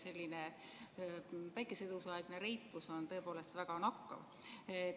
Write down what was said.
Teie päikesetõusuaegne reipus on tõepoolest väga nakkav.